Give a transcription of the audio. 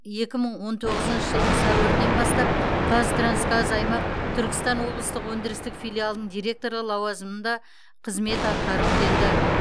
екі мың он тоғызыншы жылдың сәуірінен бастап қазтрансгаз аймақ түркістан облыстық өндірістік филиалының директоры лауазымында қызмет атқарып келді